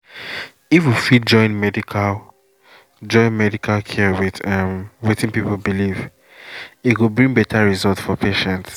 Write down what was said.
if we fit join medical join medical care with um wetin people believe e go bring better result for patient.